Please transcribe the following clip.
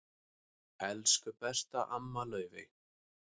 Elsku besta amma Laufey.